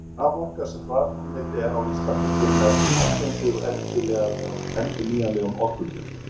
Sú raforka sem framleidd er á Íslandi kemur nær eingöngu úr endurnýjanlegum orkugjöfum.